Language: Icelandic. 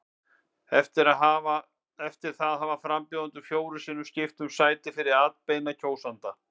Eftir það hafa frambjóðendur fjórum sinnum skipt um sæti fyrir atbeina kjósenda.